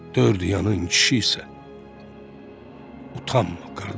Dörd yanın kişi isə, utanma, qardaş.